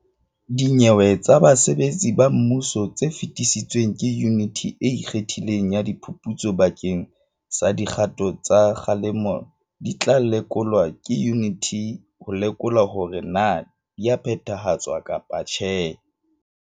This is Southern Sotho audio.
Dinyewe tsa basebetsi ba mmuso tse fetisitsweng ke Yuniti e Ikgethileng ya Di phuputso bakeng sa dikgato tsa kgalemo di tla lekolwa ke yuniti ho lekola hore na di a phethahatswa kapa tjhe.